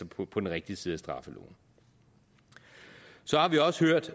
på på den rigtige side af straffeloven så har vi også hørt